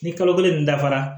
Ni kalo kelen nin dafara